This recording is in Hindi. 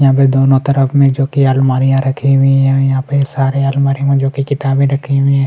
यहाँ पे दोनों तरफ में जो की अलमारियां रखी हुईं हैं यहाँ पे सारे अलमारी में जो की किताबे रखी हुई हैं --